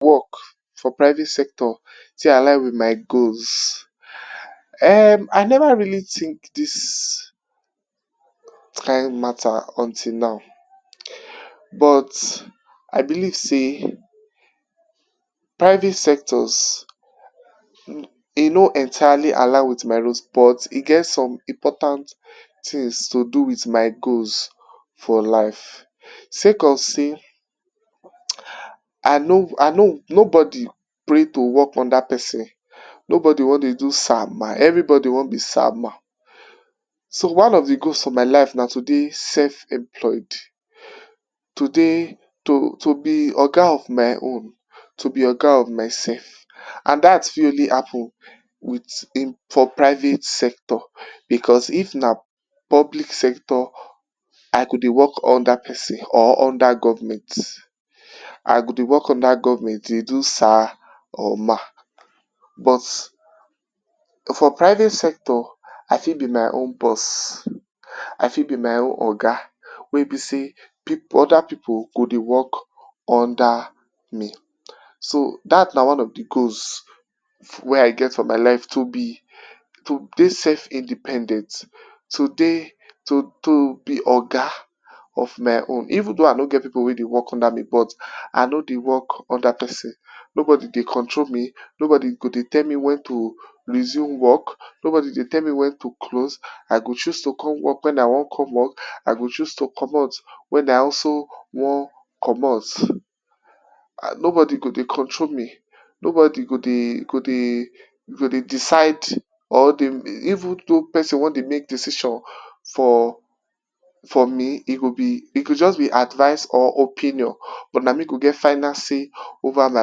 Work for private sector take align with my goals, um I never really think dis kind matter until now but I believe sey private sectors e no entirely align with my reason but e get some important things to do with my goals for life. Sake of sey I know I know nobody pray to work under person, nobody wan dey do sir ma everybody wan be sir ma, so one of the goals for my life na to dey self employed to dey to be oga of my own, to be oga of myself. And dat fit only happen with for private sector because if na public sector, I go dey work under person or I go dey work under government. I go dey work under government dey do sir or ma, but for private sector I fit be my own boss, I fit be my own oga. Wey be sey other pipu go dey work under me, so dat na one of de goals wey I get for my life to be to dey self independent, to dey to to be oga of my own. Even though I no get pipu wey dey work under me but I no dey work under person, nobody dey control me, nobody go dey tell me when to resume work, nobody go dey tell me when to close, I go chose to come work when I wan come work, I go chose to comot when I also wan comot, nobody go dey control me, nobody go dey go dey go dey decide or even though person wan dey make decisions for for me e go be advice or just opinion but na me go get final say over my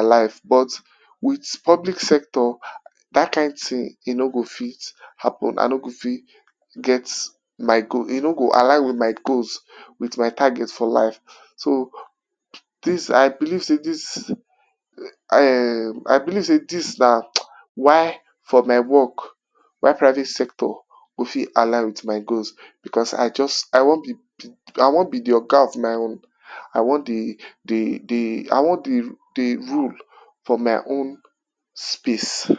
life but with public sector dat kind thing e no go fit happen, I no go fit get my goals, e no go align with my goals, with my target for life. So, dis I believe sey dis um I believe sey dis na why for my work why private sector go fit align with my goals because, I just I wan be be oga of my own. I wan dey dey I wan dey rule for my own space.